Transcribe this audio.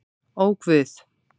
Ó guð!